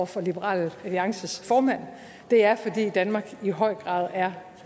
for liberal alliances formand er fordi danmark i høj grad er